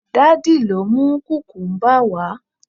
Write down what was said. daddy lọ mu kukumba wa